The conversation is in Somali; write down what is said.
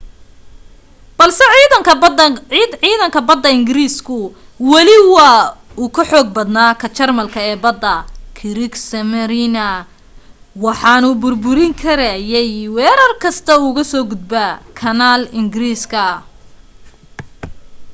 balse ciidanka badda ingiriisku weli wuu ka xoog badnaa ka jarmalka ee badda kriegsmarine waxaanu burburin karayay weerar kasta oo uga soo gudba kanaal ingiriiska